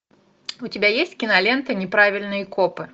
у тебя есть кинолента неправильные копы